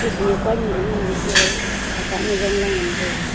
khunyaak pa nyi anyi wai se wai haka ne jong la ngan taiga.